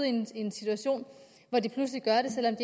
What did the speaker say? en situation hvor de pludselig gør det selv om